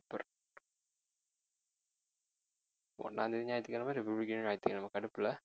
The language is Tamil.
ஒண்ணாம் தேதி ஞாயிற்றுக்கிழமை, ரிபப்லிக் டேவும் ஞாயித்துக்கிழமை கடுப்பு இல்லை